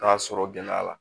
Taa sɔrɔ gɛlɛya la